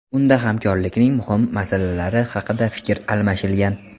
Unda hamkorlikning muhim masalalari haqida fikr almashilgan.